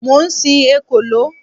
Mo ń sin ekòló.